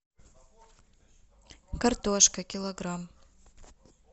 картошка килограмм